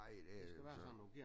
Nej det sådan